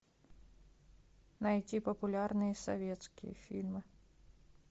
найти популярные советские фильмы